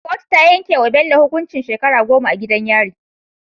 Kotu ta yanke wa Bello hukuncin shekara goma a gidan yari